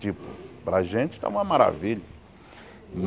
Tipo, para a gente está uma maravilha.